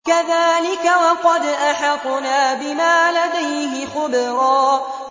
كَذَٰلِكَ وَقَدْ أَحَطْنَا بِمَا لَدَيْهِ خُبْرًا